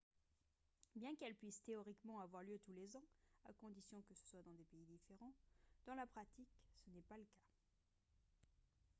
bien qu'elles puisent théoriquement avoir lieu tous les ans à condition que ce soit dans des pays différents dans la pratique ce n'est pas le cas